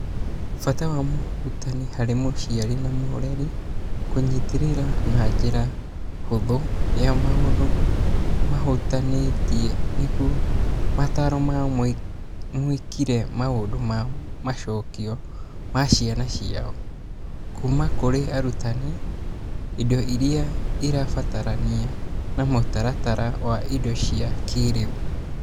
Bata wa mũrutani harĩ mũciari na mũreri kũnyitĩrĩra na njĩra hũthũ ya maũndũ mahutanĩtie nĩguo mataro ma mwĩkĩre maũndũ na macokĩo ma ciana ciao. Kuuma kũrĩ arutani, indo iria irabatarania na mũtaratara wa indo cia kĩrĩu.